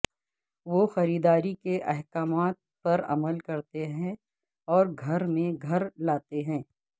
وہ خریداری کے احکامات پر عمل کرتے ہیں اور گھر میں گھر لاتے ہیں